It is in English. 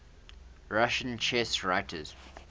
russian chess writers